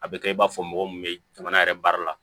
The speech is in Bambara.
A bɛ kɛ i b'a fɔ mɔgɔ min bɛ jamana yɛrɛ baara la